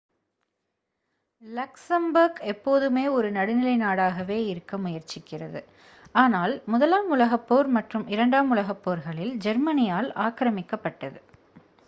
Luxembourg எப்போதுமே ஒரு நடுநிலை நாடாகவே இருக்க முயற்சிக்கிறது ஆனால் முதலாம் உலகப் போர் மற்றும் இரண்டாம் உலகப் போர்களில் ஜெர்மனியால் ஆக்ரமிக்கப்பட்டது